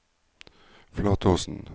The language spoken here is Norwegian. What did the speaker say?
Flatåsen